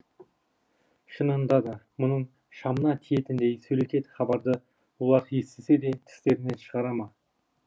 шынында да мұның шамына тиетіндей сөлекет хабарды олар естісе де тістерінен шығара ма